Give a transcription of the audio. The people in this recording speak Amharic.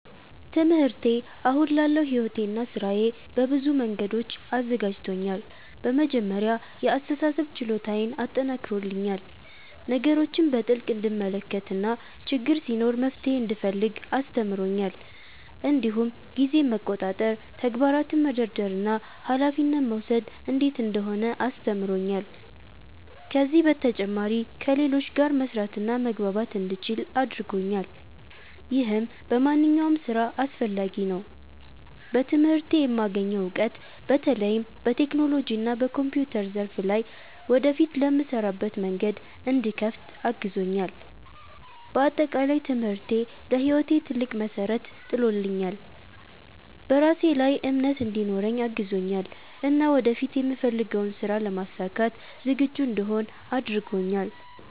ትምህርቴ አሁን ላለው ሕይወቴና ሥራዬ በብዙ መንገዶች አዘጋጅቶኛል። በመጀመሪያ የአስተሳሰብ ችሎታዬን አጠናክሮልኛል፤ ነገሮችን በጥልቅ እንድመለከት እና ችግር ሲኖር መፍትሄ እንድፈልግ አስተምሮኛል። እንዲሁም ጊዜን መቆጣጠር፣ ተግባራትን መደርደር እና ኃላፊነት መውሰድ እንዴት እንደሆነ አስተምሮኛል። ከዚህ በተጨማሪ ከሌሎች ጋር መስራትና መግባባት እንደምችል አድርጎኛል፣ ይህም በማንኛውም ሥራ አስፈላጊ ነው። በትምህርቴ የማገኘው እውቀት በተለይም በቴክኖሎጂና በኮምፒውተር ዘርፍ ላይ ወደፊት ለምሰራበት መንገድ እንዲከፍት አግዞኛል። በአጠቃላይ ትምህርቴ ለሕይወቴ ትልቅ መሠረት ጥሎልኛል፤ በራሴ ላይ እምነት እንዲኖረኝ አግዞኛል እና ወደፊት የምፈልገውን ሥራ ለማሳካት ዝግጁ እንድሆን አድርጎኛል።